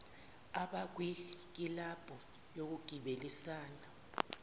abakwi kilabhu yokugibelisana